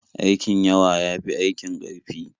Aikin yawa ya fi aikin ƙarfi.